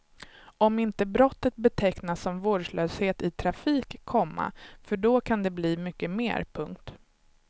Om inte brottet betecknas som vårdslöshet i trafik, komma för då kan det bli mycket mer. punkt